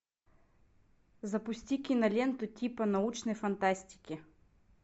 запусти киноленту типа научной фантастики